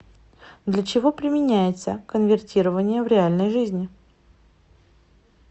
для чего применяется конвертирование в реальной жизни